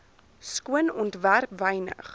skoon ontwerp wynig